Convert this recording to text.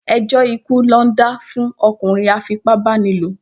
Ẹjọ́ ikú ná dá fún ọkùnrin a fipá bá ni lò.